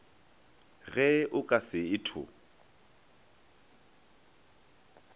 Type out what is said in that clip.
ge o ka se etho